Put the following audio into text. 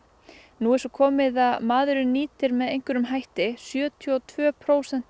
nú er svo komið að maðurinn nýtir með einhverjum hætti sjötíu og tvö prósent